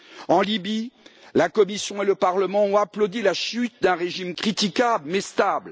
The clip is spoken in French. En Libye, la Commission et le Parlement ont applaudi la chute d'un régime critiquable mais stable.